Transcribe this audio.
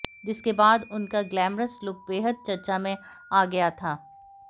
जिसके बाद उनका ग्लैमरस लुक बेहद चर्चा में आ गया था